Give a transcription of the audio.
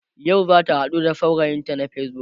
yau zata haɗu da saurayinta na facebook